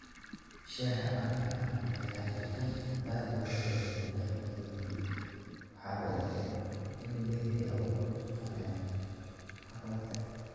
Shaaha caanaha ayaa ah cabitaan aad looga jecel yahay dalka Kenya, waxaana la og yahay in uu leeyahay awood uu ku qanciyo haraadka.